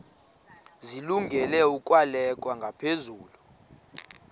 zilungele ukwalekwa ngaphezulu